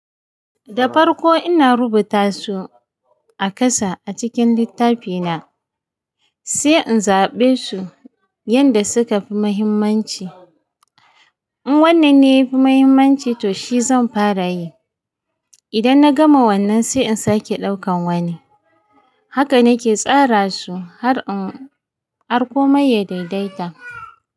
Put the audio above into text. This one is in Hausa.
Da farko ina rubuta su a kasa a cikin littafi na, sai in zaɓe su yanda suka fi muhimmanci. In wannan ne yafi muhimmanci to shi zan fara yi. Idan na gama wannan sai in sake ɗaukan wani. Haka nake tsara su har in har komai ya daidaita.